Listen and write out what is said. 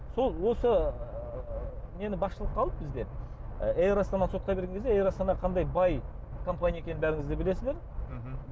сол осы нені басшылыққа алып бізде ы эйр астананы сотқа берген кезде эйр астана қандай бай компания екенін бәріңіз де білесіздер мхм